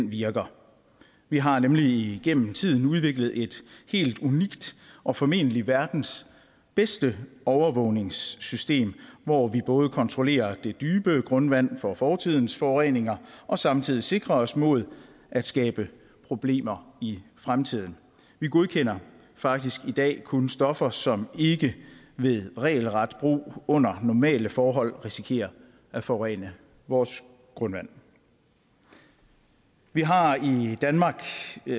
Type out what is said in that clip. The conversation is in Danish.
virker vi har nemlig igennem tiden udviklet et helt unikt og formentlig verdens bedste overvågningssystem hvor vi både kontrollerer det dybe grundvand for fortidens forureninger og samtidig sikrer os mod at skabe problemer i fremtiden vi godkender faktisk i dag kun stoffer som ikke ved regelret brug under normale forhold risikerer at forurene vores grundvand vi har i danmark